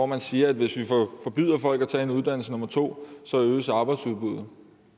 man siger at hvis vi forbyder folk at tage en uddannelse nummer to øges arbejdsudbuddet